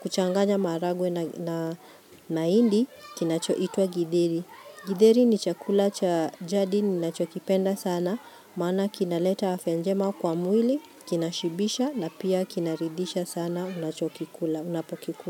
kuchanganya maharagwe na indi, kinacho itwa githeri. Githeri ni chakula cha jadi ni nacho kipenda sana, maana kinaleta afya njema kwa mwili, kinashibisha na pia kinaridisha sana, unacho kikula, unapokikula.